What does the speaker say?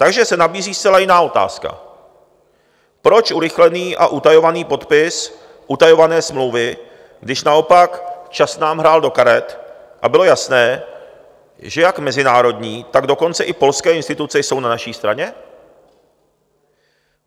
Takže se nabízí zcela jiná otázka: proč urychlený a utajovaný podpis utajované smlouvy, když naopak čas nám hrál do karet a bylo jasné, že jak mezinárodní, tak dokonce i polské instituce jsou na naší straně?